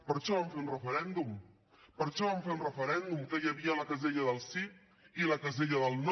per això vam fer un referèndum per això vam fer un referèndum en què hi havia la casella del sí i la casella del no